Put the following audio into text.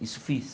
Isso fiz.